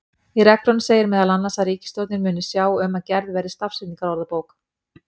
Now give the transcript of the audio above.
Í reglunum segir meðal annars að ríkisstjórnin muni sjá um að gerð verði stafsetningarorðabók.